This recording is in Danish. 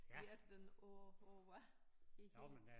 Er den øh øh hvad det hel